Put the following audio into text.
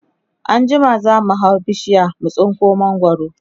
anjima zamu hau bishiyar mu tsinko mangwaro